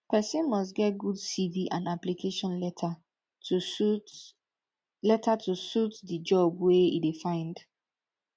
persin must get good cv and application letter to suit letter to suit the job wey e de find